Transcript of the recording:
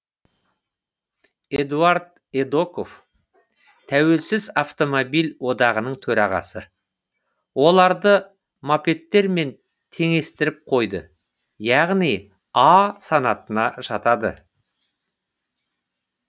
эдуард эдоков тәуелсіз автомобиль одағының төрағасы оларды мопедтермен теңестіріп қойды яғни а санатына жатады